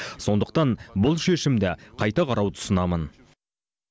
сондықтан бұл шешімді қайта қарауды ұсынамын